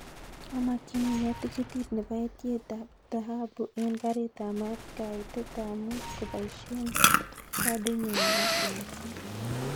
Amakyinige tikitit nebo etyet ab thahabu en karit ab maat kaitet ab muut kobaishen kadinyun nebo samset